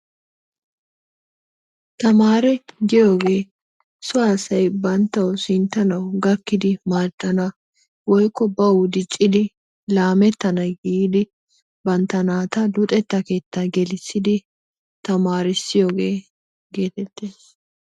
Tamaree giyogee soo asaay banttawu sinttanawu gakkidi madanna woyko bawu diccidi lamettana giddi banttaa nattaa luxxettaa keettaa gelissidi tamarisiyogaa getettees.